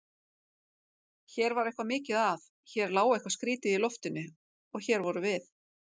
Hér var eitthvað mikið að, hér lá eitthvað skrýtið í loftinu- og hér vorum við.